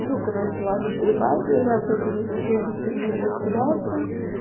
все короче ладно поебать я завтра буду всей этой херней разбираться